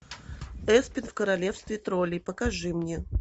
эспен в королевстве троллей покажи мне